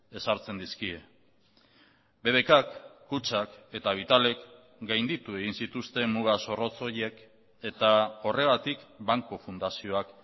ezartzen dizkie bbkk kutxak eta vitalek gainditu egin zituzten muga zorrotz horiek eta horregatik banku fundazioak